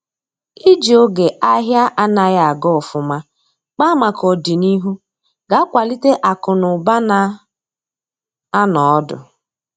iji oge ahia anaghi aga ofuma kpaa maka ọdịnihu ga akwalite akụ na ụba na anọ ọdụ